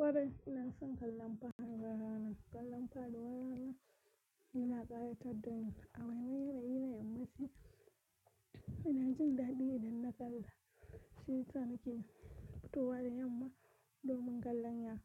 Wari ina son kallon fadi warana. Kallon fadi warana yana ƙayatar da ni. A waigaya da ina yi da mace, ina jin daɗi idan na kalla. Shi tanakin fitowa da yamma domin kallon ya-